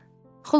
Xülasə.